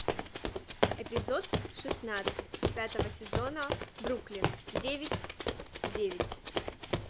эпизод шестнадцать пятого сезона бруклин девять девять